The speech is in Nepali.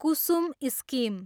कुसुम स्किम